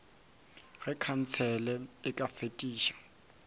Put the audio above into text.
ge khansele e ka fetiša